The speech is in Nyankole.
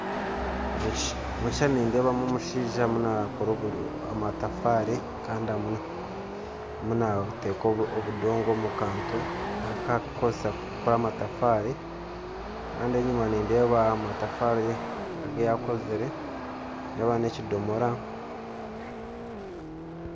Omu kishushani nindeebamu omushaija ariyo naakora amatafaari kandi ariyo naata obudongo omu kantu aku arikukozesa kukora amatafaari kandi enyima nindeebayo amatafaari agu yaakozire nindeeba n'ekidomora